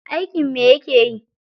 Aikin me yake yi?